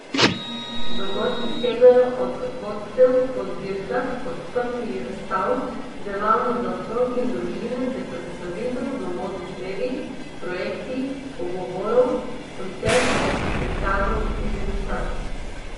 Dogodki segajo od vodstev po zbirkah, odprtij razstav, delavnic za otroke in družine ter predstavitev do modnih revij, projekcij, pogovorov, koncertov, prikazov in degustacij.